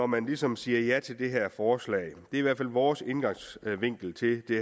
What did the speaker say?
man ligesom siger ja til det her forslag det i hvert fald vores indgangsvinkel til det